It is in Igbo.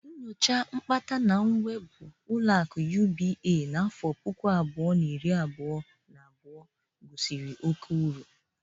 Nyocha nkpata na nwebụ oluakụ Jụnaịted Banki Afrịka n'afọ puku abụọ, na iri abụọ na abụo gosiri oke uru.